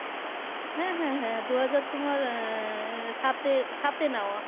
হ্যাঁ হ্যাঁ হ্যাঁ দু হাজার তোমার আহ সাতে, সাতে নেওয়া